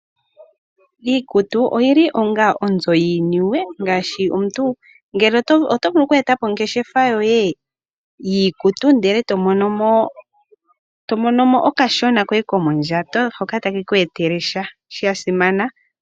Iikutu oyili onga onzo yiiniwe ngaashi omuntu otovulu oku etapo ongeshefa yoye yiikutu ndele to monomo okashona koye komondjato hoka take ku etele sha shasimana.